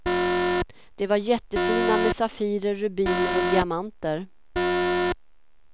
De var jättefina med safirer, rubiner och diamanter.